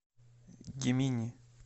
гемини